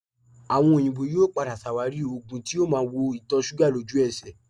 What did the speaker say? Àwọn òyìnbó yóò padà ṣàwárí oògùn tí yóò máa wo ìtọ̀ṣúgà lójú ẹsẹ̀